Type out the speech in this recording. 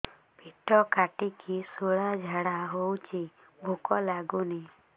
ପେଟ କାଟିକି ଶୂଳା ଝାଡ଼ା ହଉଚି ଭୁକ ଲାଗୁନି